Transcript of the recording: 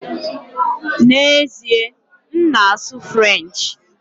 N'ezie, m na-asụ French